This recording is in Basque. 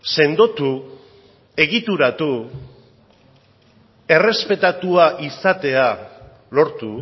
sendotu egituratu errespetatua izatea lortu